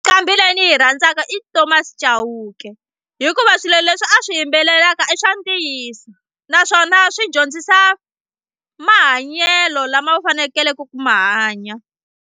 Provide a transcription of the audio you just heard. Nqambi leyi ni yi rhandzaka i Thomas Chauke hikuva swilo leswi a swi yimbelelaka i swa ntiyiso naswona swi dyondzisa mahanyelo lama u fanekeleke ku ma hanya.